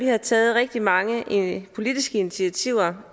har taget rigtig mange politiske initiativer